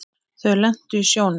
Þau lentu í sjónum.